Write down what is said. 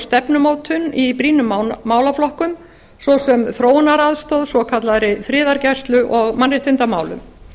stefnumótun í brýnum málaflokkum svo sem þróunaraðstoð svokallaðri friðargæslu og mannréttindamálum